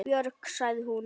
Björg, sagði hún.